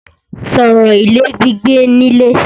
Sọ̀rọ̀ ilé gbígbé nílé!